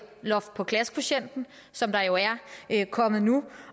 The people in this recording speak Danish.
loft for klassekvotienten som der jo er kommet nu